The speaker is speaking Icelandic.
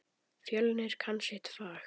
Fjölnir kann sitt fag.